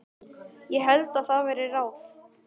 Ég held það væri ráð.